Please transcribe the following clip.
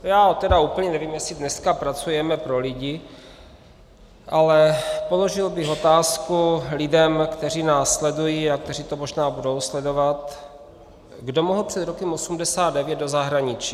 Já tedy úplně nevím, jestli dneska pracujeme pro lidi, ale položil bych otázku lidem, kteří nás sledují a kteří to možná budou sledovat, kdo mohl před rokem 1989 do zahraničí.